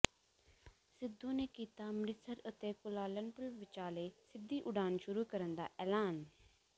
ਸਿੱਧੂ ਨੇ ਕੀਤਾ ਅੰਮ੍ਰਿਤਸਰ ਅਤੇ ਕੁਆਲਾਲੰਪੁਰ ਵਿਚਾਲੇ ਸਿੱਧੀ ਉਡਾਣ ਸ਼ੁਰੂ ਕਰਨ ਦਾ ਐਲਾਨ